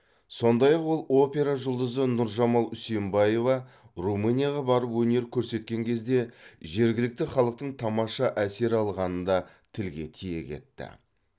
сондай ақ ол опера жұлдызы нұржамал үсенбаева румынияға барып өнер көрсеткен кезде жергілікті халықтың тамаша әсер алғанын да тілге тиек етті